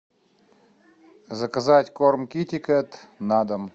заказать корм китекет на дом